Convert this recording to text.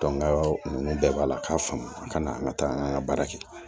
ninnu bɛɛ b'a la k'a faamu a kana an ka taa an ka baara kɛ